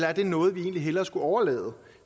er det noget vi egentlig hellere skulle overlade